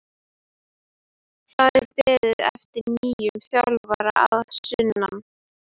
Það er beðið eftir nýjum þjálfara að sunnan.